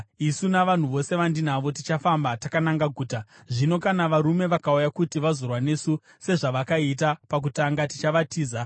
Ini navanhu vose vandinavo tichafamba takananga guta, zvino kana varume vakauya kuti vazorwa nesu, sezvavakaita pakutanga, tichavatiza.